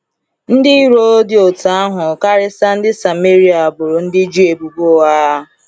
Ndị iro dị otú ahụ, karịsịa ndị Sameria, boro ndị Juu ebubo ụgha.